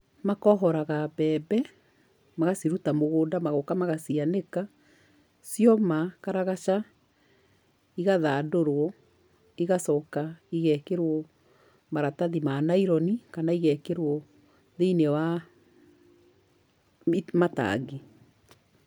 Makohoraga mbembe, magaciruta mũgũnda magoka magacianĩka. Cioma karagaca igathandũrwo igacoka igekĩrwo maratathi ma nylon kana igekĩrwo thĩiniĩ wa matangi.